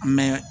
An bɛ